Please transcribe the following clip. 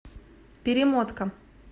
перемотка